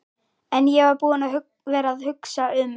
En ég var búinn að vera að hugsa um.